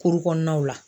Kuru kɔnɔnaw la